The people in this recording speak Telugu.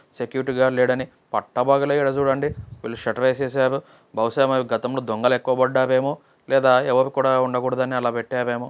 సెక్యూరిటీ గార్డ్ లేడని పక్క ఇడ చుడండి విల్లు శేట్టార్ వేసేసారు బహుశ గతంలో దొంగలు ఎక్కువ పద్దవేమో లేదా అవరు కూడా ఉండకోడదు అని అల పెట్టారేమో.